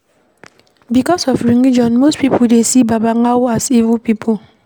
Because of religion, most pipo dey see babalawo as evil pipo